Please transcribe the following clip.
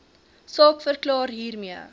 saak verklaar hiermee